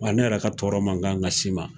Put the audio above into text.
Wa ne yɛrɛ ka tɔɔrɔ man kan ka s'i ma.